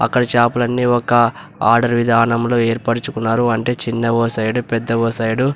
అక్కడ చాపలను ఒక సైడ్ ఆర్డర్ విధానంలో ఏర్పరచుకున్నారు. అంటే చిన్న ఓ సైడ్ పెద్ద ఓ సైడ్ --